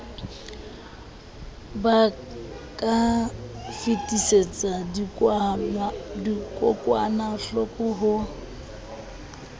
ba ka fetisetsa dikokwanahloko ho